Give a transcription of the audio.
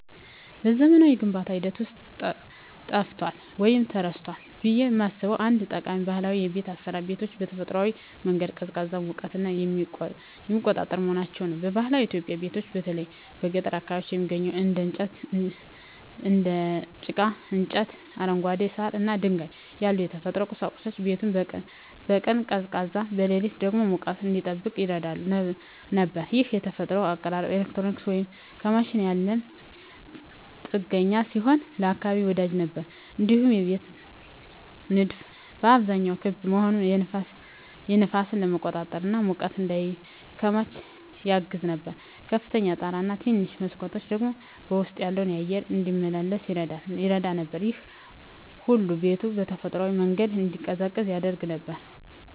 በዘመናዊው የግንባታ ሂደት ውስጥ ጠፍቷል ወይም ተረስቷል ብዬ የማስበው አንድ ጠቃሚ ባህላዊ የቤት አሰራር ቤቶችን በተፈጥሯዊ መንገድ ቀዝቃዛና ሙቀትን የሚቆጣጠር መሆናቸው ነው። በባህላዊ ኢትዮጵያዊ ቤቶች በተለይ በገጠር አካባቢዎች የሚገኙት እንደ ጭቃ፣ እንጨት፣ አረንጓዴ ሳር እና ድንጋይ ያሉ የተፈጥሮ ቁሳቁሶች ቤቱን በቀን ቀዝቃዛ፣ በሌሊት ደግሞ ሙቀት እንዲጠብቅ ይረዱ ነበር። ይህ የተፈጥሮ አቀራረብ ከኤሌክትሪክ ወይም ከማሽን ያለ ጥገኛ ሲሆን ለአካባቢ ወዳጅ ነበር። እንዲሁም የቤቶች ንድፍ በአብዛኛው ክብ መሆኑ ነፋስን ለመቆጣጠር እና ሙቀት እንዳይከማች ያግዝ ነበር። ከፍተኛ ጣራ እና ትንንሽ መስኮቶች ደግሞ ውስጡ ያለው አየር እንዲመላለስ ይረዱ ነበር። ይህ ሁሉ ቤቱ በተፈጥሯዊ መንገድ እንዲቀዝቅዝ ያደርገው ነበር።